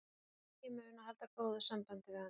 Henni var mikið í mun að halda góðu sambandi við hana.